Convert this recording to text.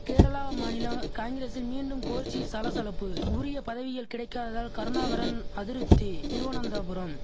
கேரளா மாநில காங்கிரசில் மீண்டும் கோஷ்டி சலசலப்பு உரிய பதவிகள் கிடைக்காததால் கருணாகரன் அதிருப்தி திருவனந்தபுரம்